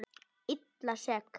Illa sek.